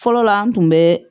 Fɔlɔla an tun bɛ